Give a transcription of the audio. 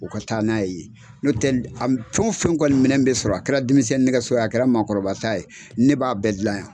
O ka taa n'a ye n'o tɛ a fɛn o fɛn kɔni minɛn bɛ sɔrɔ a kɛra denmisɛn nɛgɛso ye a kɛra maa kɔrɔba ta ye ne b'a bɛɛ dilan yan.